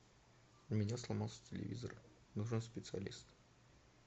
у меня сломался телевизор нужен специалист